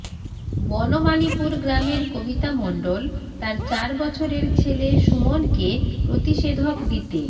বনমালিপুর গ্রামের কবিতা মণ্ডল তাঁর চার বছরের ছেলে সুমনকে প্রতিষেধক দিতে